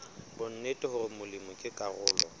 bonnete hore molemi ke karolo